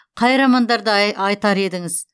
қай романдарда айтар едіңіз